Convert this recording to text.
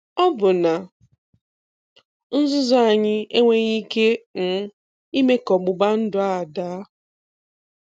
Ọbụna nzuzu anyị enweghị ike um ime ka ọgbụgba ndụ a daa.